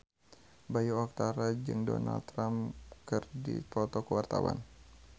Bayu Octara jeung Donald Trump keur dipoto ku wartawan